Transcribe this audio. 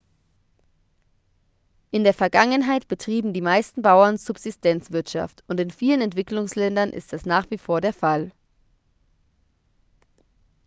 in der vergangenheit betrieben die meisten bauern subsistenzwirtschaft und in vielen entwicklungsländern ist das nach wie vor der fall